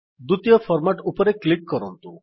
ଦ୍ୱିତୀୟ ଫର୍ମାଟ୍ ଉପରେ କ୍ଲିକ୍ କରନ୍ତୁ